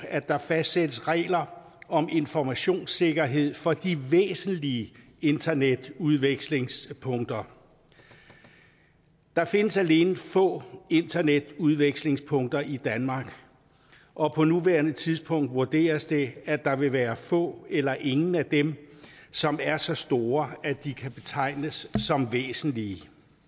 at der fastsættes regler om informationssikkerhed for de væsentlige internetudvekslingspunkter der findes alene få internetudvekslingspunkter i danmark og på nuværende tidspunkt vurderes det at der vil være få eller ingen af dem som er så store at de kan betegnes som væsentlige